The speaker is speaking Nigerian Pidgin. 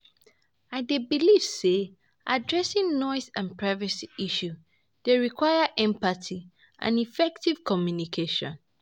I dey believe say addressing noise and privacy issue dey require empathy and effective communication.